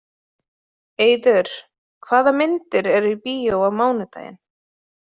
Eiður, hvaða myndir eru í bíó á mánudaginn?